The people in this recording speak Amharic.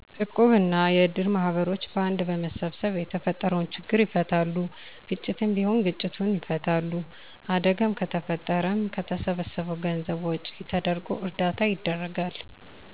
እቁብ እና የእድር ማህበሮች በአንድ በመሰብሰብ የተፈጠረውን ችግር ይፈታሉ። ግጭትም ቢሆን ግጭቱን ይፈታሉ። አደጋም ከተፈጠረም ከተሰበሰበው ገንዘብ ወጭ ተደርጎ እርዳታ ይደረጋል።